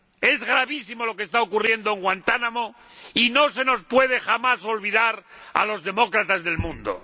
Es gravísimo lo que está ocurriendo en Guantánamo, y no se nos puede jamás olvidar a los demócratas del mundo.